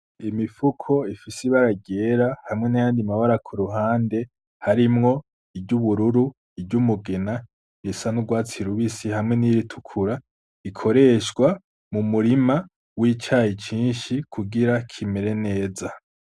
Imifuko ifise ibara ryera hamwe n'ayandi mabara ku ruhande harimwo iry'ubururu iry'umugena risa n'urwatsi rubisi hamwe n'iritukura ikoreshwa mu murima w'icayi cinshi kugira kimere neza.